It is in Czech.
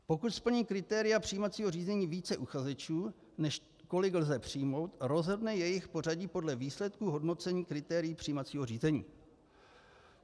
Pokud splní kritéria přijímacího řízení více uchazečů, než kolik lze přijmout, rozhodne jejich pořadí podle výsledků hodnocení kritérií přijímacího řízení.